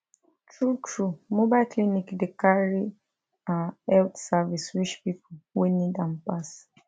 true true mobile clinic dey carry ah health service reach pipo wey need am pass